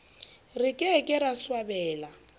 re ke ke ra swabela